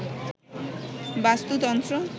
বাস্তুতন্ত্র